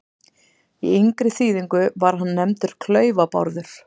Í yngri þýðingu var hann nefndur Klaufa-Bárður.